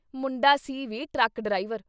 ਮੁੰਡਾ ਸੀ ਵੀ ਟਰੱਕ ਡਰਾਈਵਰ।